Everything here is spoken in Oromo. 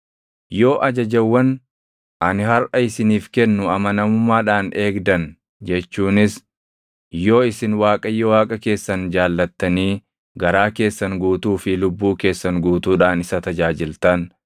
Yoo ajajawwan ani harʼa isiniif kennu amanamummaadhaan eegdan jechuunis yoo isin Waaqayyo Waaqa keessan jaallattanii garaa keessan guutuu fi lubbuu keessan guutuudhaan isa tajaajiltan,